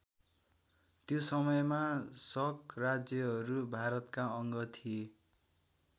त्यो समयमा शक राज्यहरू भारतका अङ्ग थिए।